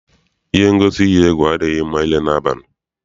Ihe ngosi iyi egwu adịghị mma ile n'abalị.